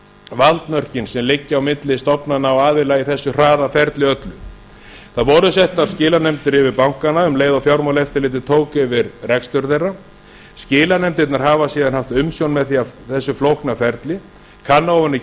valdmörkin sem liggja á milli stofnana og aðila í þessu hraða ferli öllu það voru settar skilanefndir yfir bankana um leið og fjármálaeftirlitið tók fyrir rekstur þeirra skilanefndirnar hafa síðan haft umsjón með þessu flókna ferli kanna ofan í